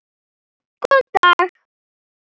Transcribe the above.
Góðan dag?